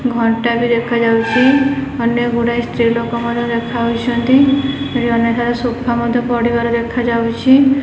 ଘଣ୍ଟା ବି ଦେଖାଯାଉଛି ଅନେକ ଗୁଡ଼ାଏ ସ୍ତ୍ରୀ ଲୋକ ମଧ୍ୟ ଦେଖାଯାଉଛନ୍ତି ଏଠି ଅନେକ ସାରା ସୋଫା ମଧ୍ୟ ପଡ଼ିବାର ଦେଖାଯାଉଛି।